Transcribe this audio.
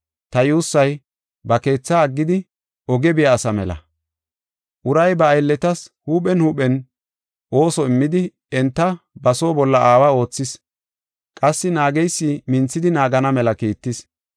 Ta yuussay, ba keetha aggidi, oge biya asa mela. Uray ba aylletas huuphen huuphen ooso immidi enta ba oosuwa bolla aawa oothis; qassi naageysi minthidi naagana mela kiittis.